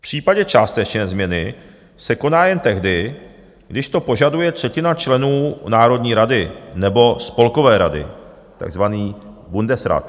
V případě částečně změny se koná jen tehdy, když to požaduje třetina členů Národní rady nebo Spolkové rady, takzvaný Bundesrat.